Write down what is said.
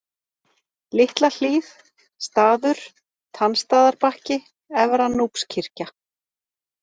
Litla Hlíð, Staður, Tannstaðarbakki, Efra-Núpskirkja